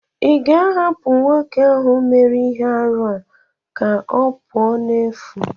ị ga-ahapụ nwoke ahụ mere ihe arụ a ka ọ pụọ n'efu?